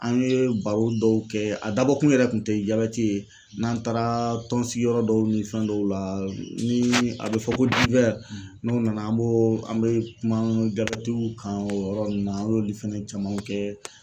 An ye baro dɔw kɛ a dabɔkun yɛrɛ kun tɛ jabɛti ye n'an taara tɔnsigiyɔrɔ dɔw ni fɛn dɔw la ni a bɛ fɔ ko n'o nana an b'o an bɛ kuma jabɛtiw kan o yɔrɔ ninnu na an y'olu fɛnɛ camanw kɛ.